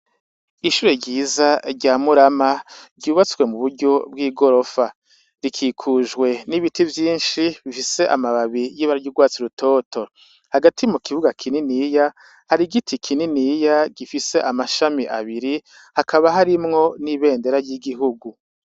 Ishuri ryiza rya Murama ryubatswe mu buryo bw'igorofa rikikujwe n'ibiti vyishi bifise amababi y'urwatsi rutoto hagati mu kibuga kininiya hari igiti kininiya gifise mashami abiri hakaba harimwo n'ibendera ry'igihugu.